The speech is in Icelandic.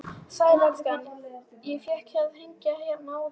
Sæll elskan, ég fékk að hringja hérna útí sjoppu.